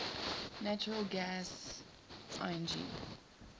natural gas lng